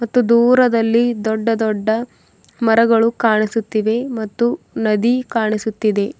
ಮತ್ತು ದೂರದಲ್ಲಿ ದೊಡ್ಡ ದೊಡ್ಡ ಮರಗಳು ಕಾಣಿಸುತ್ತಿವೆ ಮತ್ತು ನದಿ ಕಾಣಿಸುತ್ತಿದೆ.